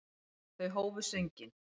Þau hófu sönginn.